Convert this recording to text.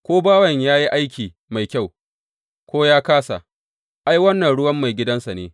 Ko bawan yă yi aiki mai kyau, ko yă kāsa, ai, wannan ruwan maigidansa ne.